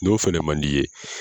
N'o fana man di i ye